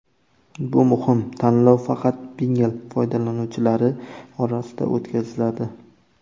Bu muhim: tanlov faqat Pinngle foydalanuvchilari orasida o‘tkaziladi.